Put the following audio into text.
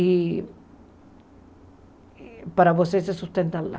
E... Para você se sustentar lá.